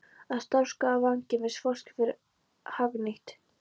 Að starfsorka vangefins fólks verði hagnýtt.